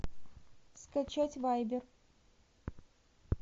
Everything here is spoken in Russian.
скачать вайбер